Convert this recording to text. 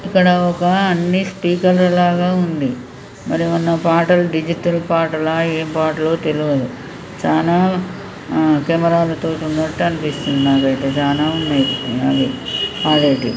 ఇక్కడ ఒక అన్ని స్పీకర్ ల లాగా ఉంది. మరేమన్న పాటల్ డిజిటల్ పాటలా ఏం పాటలో తెల్వదు. చానా ఆ కెమెరాల తోటున్నట్టు అనిపిస్తుంది నాకైతే చానా ఉన్నయ్ అవి పాడేటియ్.